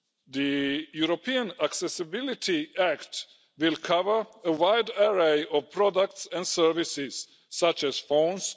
The European Accessibility Act will cover a wide array of products and services, such as phones